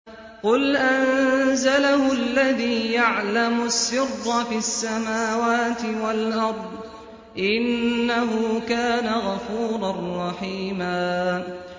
قُلْ أَنزَلَهُ الَّذِي يَعْلَمُ السِّرَّ فِي السَّمَاوَاتِ وَالْأَرْضِ ۚ إِنَّهُ كَانَ غَفُورًا رَّحِيمًا